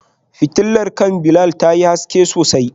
Fitilar kan Bilal tayi haske sosai.